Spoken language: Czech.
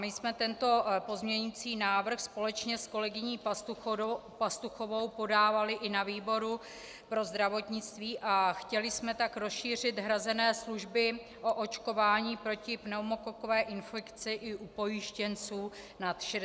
My jsme tento pozměňující návrh společně s kolegyní Pastuchovou podávaly i na výboru pro zdravotnictví a chtěly jsme tak rozšířit hrazené služby o očkování proti pneumokokové infekci i u pojištěnců nad 65 let.